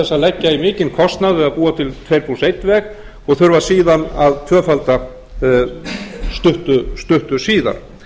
að leggja í mikinn kostnað við að búa til tveir plús einn veg og þurfa síðan að tvöfalda stuttu síðar